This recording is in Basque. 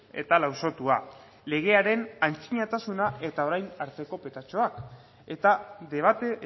eta lausotua legearen antzinatasuna eta orain arteko petatxuak eta debate